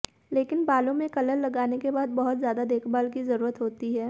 लेकिन बालों में कलर लगाने के बाद बहुत ज्यादा देखभाल की जरूरत होती है